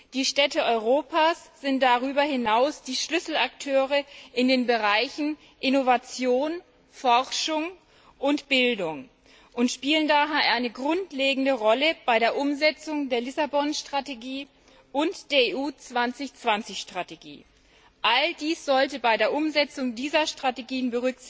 Die Städte Europas sind darüber hinaus die Schlüsselakteure in den Bereichen Innovation, Forschung und Bildung und spielen daher eine grundlegende Rolle bei der Umsetzung der Strategie von Lissabon und der Strategie EU 2020. All dies sollte bei der Umsetzung dieser Strategien